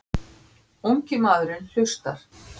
Ungi maðurinn hlustar.